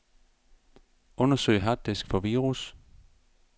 Undersøg harddisk for virus.